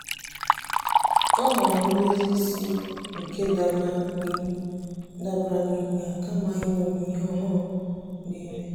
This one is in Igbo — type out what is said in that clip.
ọ́ họ̀ọ̀rọ̀ ndózí ísí nke dabara n’íhú dabara n’íhú yá kama ị́ṅọ́mí ìhè ọ́hụ́rụ́ nà-èmé.